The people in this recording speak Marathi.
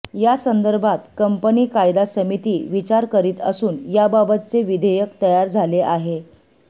यासंदर्भात कंपनी कायदा समिती विचार करीत असून याबाबतचे विधेयक तयार झाले आहे